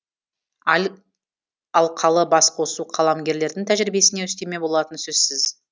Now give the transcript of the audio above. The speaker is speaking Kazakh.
алқалы басқосу қаламгерлердің тәжірибесіне үстеме болатыны сөзсіз